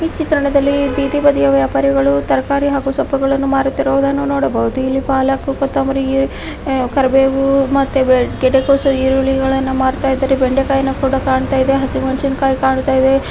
ಈ ಚಿತ್ರಣದಲ್ಲಿ ಬೀದಿ ಬದಿಯ ವ್ಯಾಪಾರಿಗಳು ತರಕಾರಿ ಹಾಗು ಸೊಪ್ಪುಗಳನ್ನು ಮಾರುತ್ತಿರುವುದನ್ನು ನೋಡಬಹುದು ಇಲ್ಲಿ ಪಾಲಕ್ ಕೊತ್ತಂಬರಿ ಕರಿಬೇವು ಮತ್ತೆ ಗಡ್ಡೆ ಕೋಸು ಈರುಳ್ಳಿಗಳನ್ನಮಾರತ್ತಾ ಇದ್ದಾರೆ ಬೆಂಡೆಕಾಯಿನು ಕೂಡ ಕಾಣತ್ತಾ ಇದೆ ಹಸಿಮೆಣಸಿನಕಾಯಿ ಕಾಣತ್ತಾ ಇದೆ.